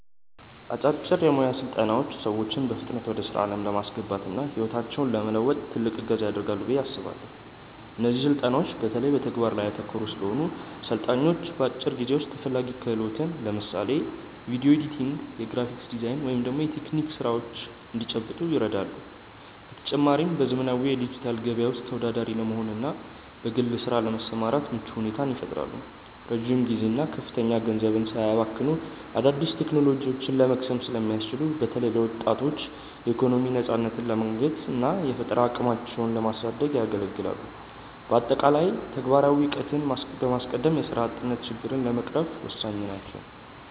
አጫጭር የሞያ ስልጠናዎች ሰዎችን በፍጥነት ወደ ስራ ዓለም ለማስገባትና ህይወታቸውን ለመለወጥ ትልቅ እገዛ ያደርጋሉ ብዬ አስባለው። እነዚህ ስልጠናዎች በተለይ በተግባር ላይ ያተኮሩ ስለሆኑ፣ ሰልጣኞች በአጭር ጊዜ ውስጥ ተፈላጊ ክህሎትን (ለምሳሌ ቪዲዮ ኤዲቲንግ፣ የግራፊክ ዲዛይን ወይም የቴክኒክ ስራዎች) እንዲጨብጡ ይረዳሉ። በተጨማሪም፣ በዘመናዊው የዲጂታል ገበያ ውስጥ ተወዳዳሪ ለመሆንና በግል ስራ ለመሰማራት ምቹ ሁኔታን ይፈጥራሉ። ረጅም ጊዜና ከፍተኛ ገንዘብ ሳያባክኑ አዳዲስ ቴክኖሎጂዎችን ለመቅሰም ስለሚያስችሉ፣ በተለይ ለወጣቶች የኢኮኖሚ ነፃነትን ለማግኘትና የፈጠራ አቅማቸውን ለማሳደግ ያገለግላሉ። በአጠቃላይ፣ ተግባራዊ እውቀትን በማስቀደም የስራ አጥነትን ችግር ለመቅረፍ ወሳኝ ናቸው።